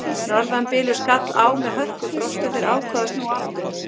Norðanbylur skall á með hörkufrosti og þeir ákváðu að snúa aftur.